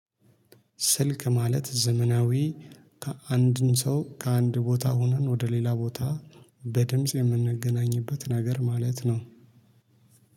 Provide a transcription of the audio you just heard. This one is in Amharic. ስልክ ማለት ዘመናዊ አንድን ሰው ከአንድ ቦታ ሆነን ወደ ሌላ ቦታ በድምጽ የምንገናኝበት ነገር ማለት ነው።